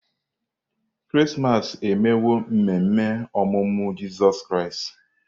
Krismas emewo ememe ọmụmụ Jizọs Kraịst.